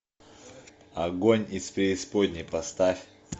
огонь из преисподней поставь